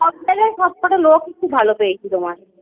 সবজায়গায় সবকোটা লোকই আমরা ভালো পেয়েছি তোমার